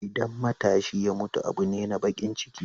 Idan matashi ya mutu abu ne na baƙin ciki.